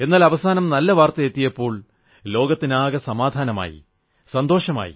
എന്നാൽ അവസാനം നല്ല വാർത്തയെത്തിയപ്പോൾ ലോകത്തിനാകെ സമാധാനമായി സന്തോഷമായി